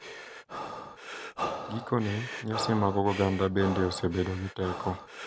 Gikone, nyasi mag oganda bende osebedo gi teko,